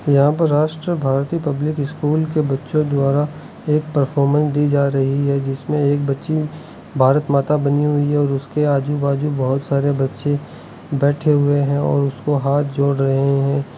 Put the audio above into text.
यहां पर Rashtra Bharati public school के बच्चो द्वारा एक परफॉर्मेन दी जा रही है जिसमें एक बच्ची भारत माता बनी हुई है और उसके आजू बाजू बहोत सारे बच्चे बैठे हुए है और उसको हाथ जोड़ रहे है।